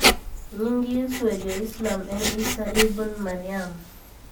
Nying Yesu e jo-islam en Isa ibn Maryam